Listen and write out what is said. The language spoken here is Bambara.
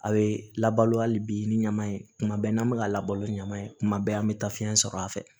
A bɛ labalo hali bi ni ɲama ye tuma bɛɛ n'an bɛ ka labalo ɲama ye kuma bɛɛ an bɛ taa fiyɛn sɔrɔ a fɛ